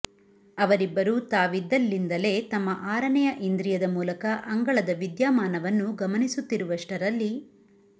ಅವರಿಬ್ಬರು ತಾವಿದ್ದಲ್ಲಿಂದಲೇ ತಮ್ಮ ಆರನೆಯ ಇಂದ್ರಿಯದ ಮೂಲಕ ಅಂಗಳದ ವಿದ್ಯಾಮಾನವನ್ನು ಗಮನಿಸುತ್ತಿರುವಷ್ಟರಲ್ಲಿ